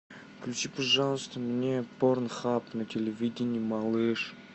включи пожалуйста мне порнхаб на телевидении малыш